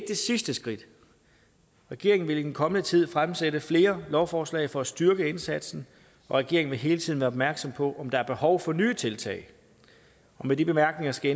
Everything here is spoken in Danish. det sidste skridt regeringen vil i den kommende tid fremsatte flere lovforslag for at styrke indsatsen og regeringen vil hele tiden være opmærksom på om der er behov for nye tiltag og med de bemærkninger skal